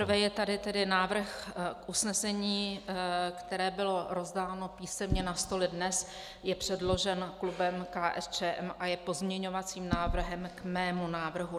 Nejprve je tady tedy návrhu k usnesení, které bylo rozdáno písemně na stoly dnes, je předložen klubem KSČM a je pozměňovacím návrhem k mému návrhu.